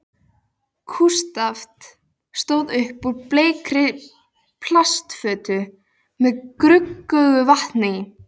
Kústskaft stóð upp úr bleikri plastfötu með gruggugu vatni í.